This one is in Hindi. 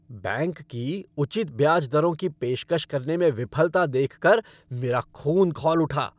बैंक की उचित ब्याज दरों की पेशकश करने में विफलता देख कर मेरा खून खौल उठा।